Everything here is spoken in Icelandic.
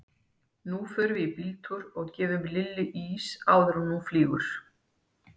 Nú förum við í bíltúr og gefum Lillu ís áður en hún flýgur.